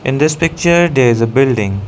in this picture there is a building.